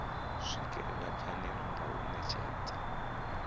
swikelela phanele nga u netshedza